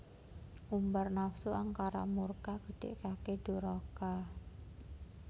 Ngumbar nafsu angkara murka nggedhekake duraka